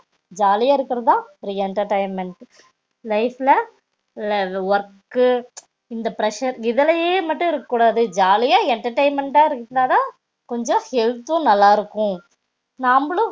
ஜாலியா இருகர்துலா ஒரு entertainment டு life ல work க்கு இந்த pressure இதுலையே மட்டும் இருக்க கூடாது ஜாலியா entertainment டடா இருந்தாதால கொஞ்சம் health தும் நல்லா இருக்கும் நாம்பளும்